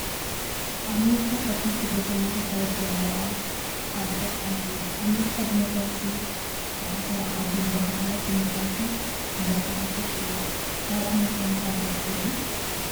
ኣሜርካ ካብተን ስደተኛ ተሳጉጉ ዘለው ዓዲታት ሓንቲ እያ። ኣሜርካ ዲሞክራሲ ዝዓሰለላ ዓዲ እንዳተባሃለት ዲሞክራሲ እንዳጋሃሰት እያ። ናብ ኤማርካ ምካድ ዶ ትደልዩ ?